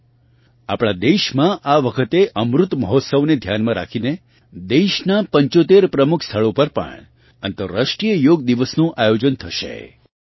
સાથીઓ આપણાં દેશમાં આ વખતે અમૃત મહોત્સવ ને ધ્યાનમાં રાખીને દેશનાં 75 પ્રમુખ સ્થળો પર પણ અંતરરાષ્ટ્રીય યોગ દિવસ નું આયોજન થશે